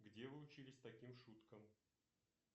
где вы учились таким шуткам